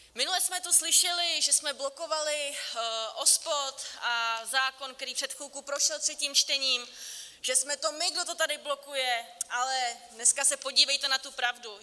Minule jsme tu slyšeli, že jsme blokovali OSPOD a zákon, který před chvilkou prošel třetím čtením, že jsme to my, kdo to tady blokuje, ale dneska se podívejte na tu pravdu.